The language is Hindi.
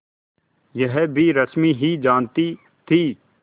यह भी रश्मि ही जानती थी